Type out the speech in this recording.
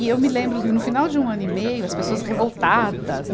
E eu me lembro, no final de um ano e meio, as pessoas revoltadas.